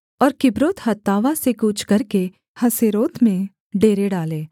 और किब्रोतहत्तावा से कूच करके हसेरोत में डेरे डाले